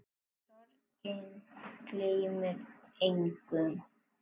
Sorgin gleymir engum.